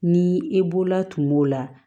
Ni e bolola tuma la